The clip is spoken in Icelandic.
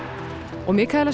og